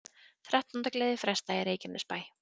Þrettándagleði frestað í Reykjanesbæ